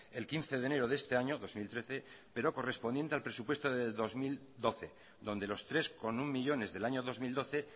el quince de enero de este año dos mil trece pero correspondiente al presupuesto del dos mil doce donde los tres coma uno millónes del año dos mil doce